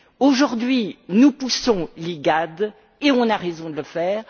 Aujourd'hui, nous poussons l'IGAD et nous avons raison de le faire.